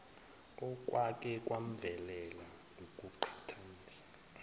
okwake kwamvelela ukuqhathanisa